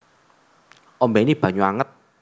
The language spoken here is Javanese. Ombéni banyu anget